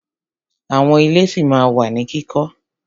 Àwọn ilé ṣí ma wà ní kíkọ́.